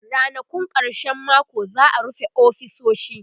Rannakun karshen mako za'a rufe ofisoshi